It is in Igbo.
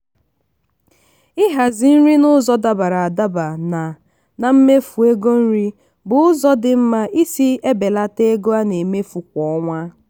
ịhazi nri n'ụzọ dabara adaba na na mmefu ego nri bụ ụzọ dị mma isi ebelata ego a na-emefu kwa ọnwa.